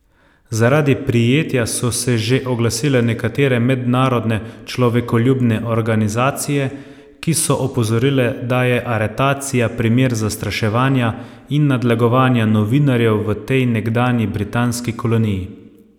Zaradi prijetja so se že oglasile nekatere mednarodne človekoljubne organizacije, ki so opozorile, da je aretacija primer zastraševanja in nadlegovanja novinarjev v tej nekdanji britanski koloniji.